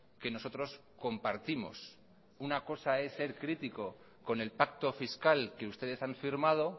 que nosotros compartimos una cosa es ser crítico con el pacto fiscal que ustedes han firmado